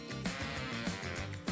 Demək olar ki, ən çətin proses bitdi.